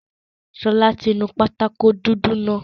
Ṣọlá ti nu pátákó dúdú náà